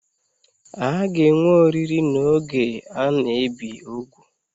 A ga-enwe oriri n'oge a na-ebi úgwù?